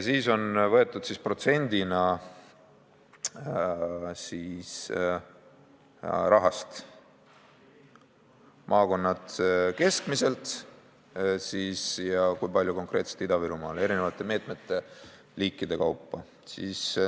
Siis on võetud protsendina maakonnad keskmiselt ja see, kui palju on konkreetselt läinud Ida-Virumaale, eri meetmeliikide kaupa.